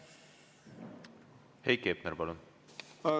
Heiki Hepner, palun!